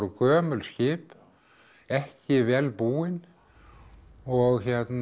gömul skip ekki vel búin og